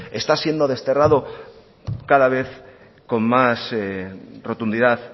está siendo desterrado cada vez con más rotundidad